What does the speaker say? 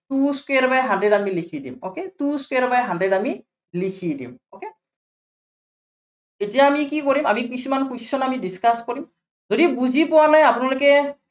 two square by hundred আমি লিখি দিম okay, two square by hundred আমি লিখি দিম। okay এতিয়া আমি কি কৰিম, আমি কিছুমান question আমি discuss কৰিম। যদি বুজি পোৱা নাই আপোনালোকে